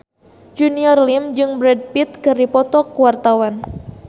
Junior Liem jeung Brad Pitt keur dipoto ku wartawan